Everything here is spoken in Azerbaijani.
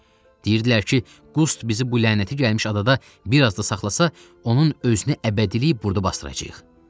Deyirdilər ki, Qust bizi bu lənəti gəlmiş adada bir az da saxlasa, onun özünü əbədilik burda basdıracağıq.